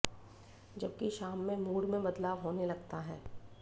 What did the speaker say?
जबकि शाम में मूड में बदलाव होने लगता है